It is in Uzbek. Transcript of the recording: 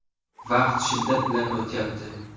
Vaqt shiddat bilan o‘tyapti.